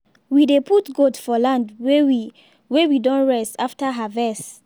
we dey put goat for land wey we wey we don rest after harvest